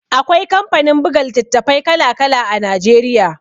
Akwai kamfanin buga litattafai kala-kala Najeriya.